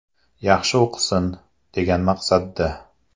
– Yaxshi o‘qisin, degan maqsadda”.